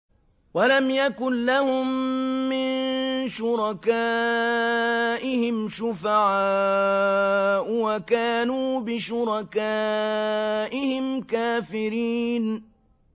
وَلَمْ يَكُن لَّهُم مِّن شُرَكَائِهِمْ شُفَعَاءُ وَكَانُوا بِشُرَكَائِهِمْ كَافِرِينَ